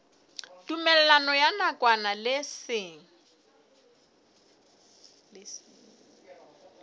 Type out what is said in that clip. tumellano ya nakwana le seng